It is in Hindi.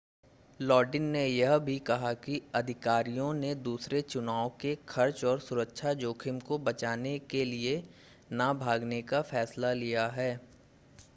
लॉडिन ने यह भी कहा कि अधिकारियों ने दूसरे चुनाव के खर्च और सुरक्षा जोखिम को बचाने के लिए न भागने का फैसला लिया है